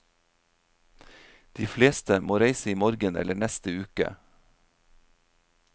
De fleste må reise i morgen eller neste uke.